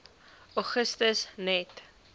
augustus net